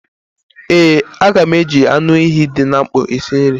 Ee, a ga m eji anụ ehi dị na mkpọ esi nri